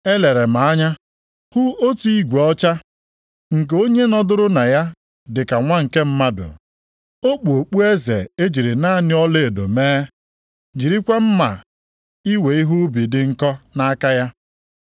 Elere m anya hụ otu igwe ọcha, nke onye nọdụrụ na ya dịka nwa nke mmadụ. + 14:14 \+xt Dan 7:13\+xt* O kpu okpueze e jiri naanị ọlaedo mee, jirikwa mma iwe ihe ubi dị nkọ, nʼaka ya.